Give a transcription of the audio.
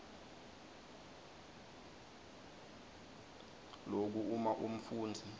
loku uma umfundzi